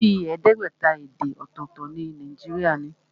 Bíi ẹẹdẹgbẹta èdè ọ̀tọ̀tọ̀ ni Nàìjíríà ní.